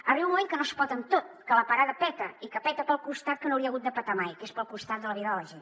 arriba un moment que no es pot amb tot que la parada peta i que peta pel costat que no hauria hagut de petar mai que és pel costat de la vida de la gent